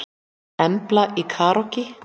Embla í karókí